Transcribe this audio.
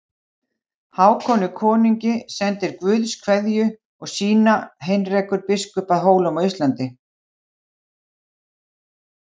Hákoni konungi sendir Guðs kveðju og sína Heinrekur biskup að Hólum á Íslandi.